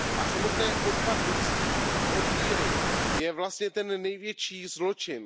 Samotné odpadlictví od víry je vlastně ten největší zločin.